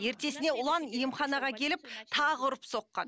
ертесіне ұлан емханаға келіп тағы ұрып соққан